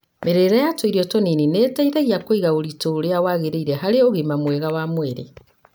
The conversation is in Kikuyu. Mĩrĩire ya tũirio tũnini nĩ ĩteithagia kũiga ũritũ ũria wagĩrĩire harĩ ũgima mwega wa mwĩrĩ.